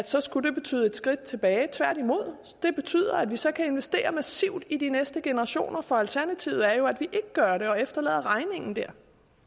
så skulle det betyde et skridt tilbage tværtimod det betyder at vi så kan investere massivt i de næste generationer for alternativet er jo at vi ikke gør det og efterlader regningen der